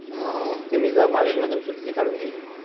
अं ते मी जरा कॉलेजमधून सुट्टी काढून घेईल